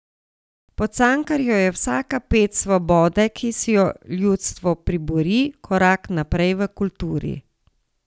Po Cankarju je vsaka ped svobode, ki si jo ljudstvo pribori, korak naprej v kulturi.